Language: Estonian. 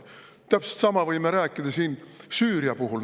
Täpselt sama võime rääkida Süüria puhul.